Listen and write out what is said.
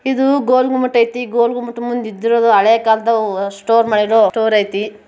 ಇದು ಗೋಲ್ ಗುಮ್ಮಟ ಇದೆ ಗುಮ್ಮಟ ಮುಂದ್ಗಡೆ ಹಳೆ ಕಾಲದ ಸ್ಟೋರ್ ಮಾಡಿರುವಂತಹ ಸ್ಟೋರ್ ಐತಿ.